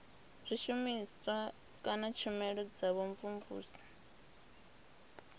zwishumiswa kana tshumelo dza vhumvumvusi